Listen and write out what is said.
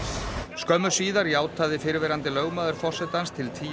skömmu síðar játaði fyrrverandi lögmaður forsetans til tíu